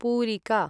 पूरिका